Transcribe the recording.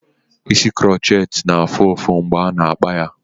Isi kuroceti na-afụ ụfụ mgbe ana-akpa ya.